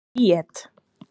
Bríet